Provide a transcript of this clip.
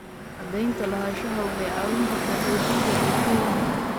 Cadaynta lahaanshaha waxay caawin kartaa xoojinta bulshooyinka.